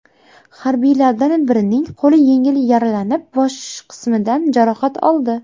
Harbiylardan birining qo‘li yengil yaralanib, bosh qismidan jarohat oldi.